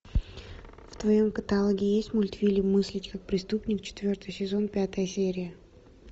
в твоем каталоге есть мультфильм мыслить как преступник четвертый сезон пятая серия